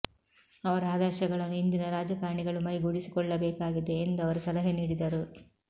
ಅವರ ಆದರ್ಶಗಳನ್ನು ಇಂದಿನ ರಾಜಕಾರಣಿಗಳು ಮೈಗೂಡಿಸಿಕೊಳ್ಳಬೇಕಾಗಿದೆ ಎಂದು ಅವರು ಸಲಹೆ ನೀಡಿದರು